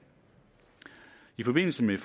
i forbindelse med